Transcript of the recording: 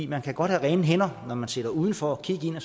man kan godt have rene hænder når man sidder udenfor og kigger